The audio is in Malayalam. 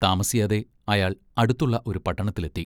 താമസിയാതെ അയാൾ അടുത്തുള്ള ഒരു പട്ടണത്തിലെത്തി.